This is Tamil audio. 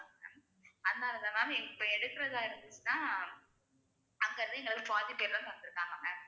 அதனாலதான் ma'am இப்ப எடுக்குறதா இருந்துச்சுன்னா அங்க இருந்து இங்க வந்து வந்திருக்காங்க ma'am